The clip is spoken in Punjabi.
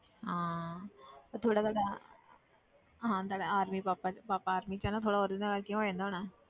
ਹਾਂ ਤਾਂ ਥੋੜ੍ਹਾ ਤੁਹਾਡਾ ਹਾਂ ਤੁਹਾਡੇ army ਪਾਪਾ 'ਚ ਪਾਪਾ army 'ਚ ਆ ਨਾ ਥੋੜ੍ਹਾ ਉਹਦੇ ਨਾਲ ਕਿ ਹੋ ਜਾਂਦਾ ਹੋਣਾ।